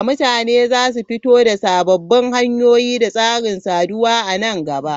Mutane za su fito da sababbin hanyoyi da tsarin saduwa a nan gaba.